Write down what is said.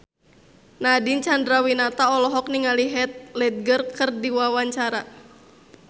Nadine Chandrawinata olohok ningali Heath Ledger keur diwawancara